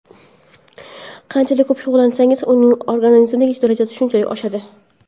Qanchalik ko‘p shug‘ullansangiz, uning organizmdagi darajasi shunchalik oshadi.